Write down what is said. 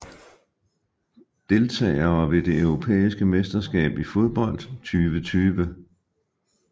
Deltagere ved det europæiske mesterskab i fodbold 2020